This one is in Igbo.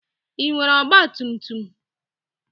Ị nwere ọgba tum tum?